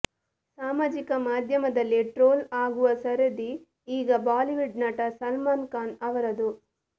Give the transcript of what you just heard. ಸಾಮಾಜಿಕ ಮಾಧ್ಯಮದಲ್ಲಿ ಟ್ರೋಲ್ ಆಗುವ ಸರದಿ ಈಗ ಬಾಲಿವುಡ್ ನಟ ಸಲ್ಮಾನ್ ಖಾನ್ ಅವರದು